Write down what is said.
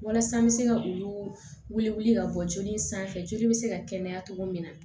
Walasa n bɛ se ka olu wele ka bɔ joli in sanfɛ joli bɛ se ka kɛnɛya cogo min na